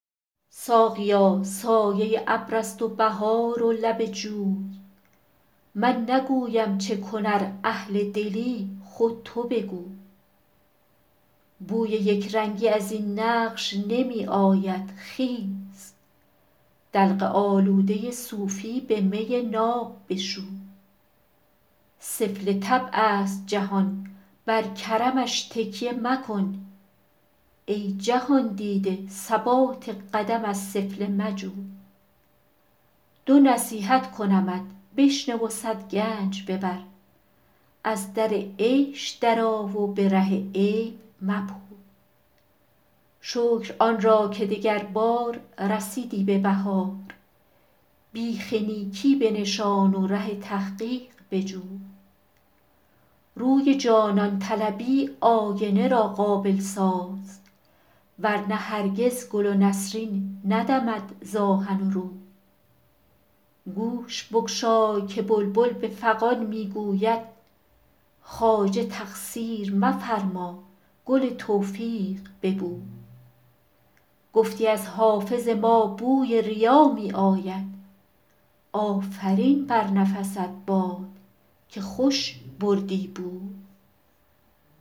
ساقیا سایه ابر است و بهار و لب جوی من نگویم چه کن ار اهل دلی خود تو بگوی بوی یک رنگی از این نقش نمی آید خیز دلق آلوده صوفی به می ناب بشوی سفله طبع است جهان بر کرمش تکیه مکن ای جهان دیده ثبات قدم از سفله مجوی دو نصیحت کنمت بشنو و صد گنج ببر از در عیش درآ و به ره عیب مپوی شکر آن را که دگربار رسیدی به بهار بیخ نیکی بنشان و ره تحقیق بجوی روی جانان طلبی آینه را قابل ساز ور نه هرگز گل و نسرین ندمد ز آهن و روی گوش بگشای که بلبل به فغان می گوید خواجه تقصیر مفرما گل توفیق ببوی گفتی از حافظ ما بوی ریا می آید آفرین بر نفست باد که خوش بردی بوی